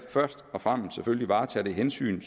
først og fremmest selvfølgelig varetager det hensyn